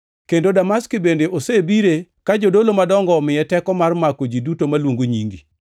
Kendo Damaski bende osebire ka jodolo madongo omiye teko mar mako ji duto maluongo nyingi.”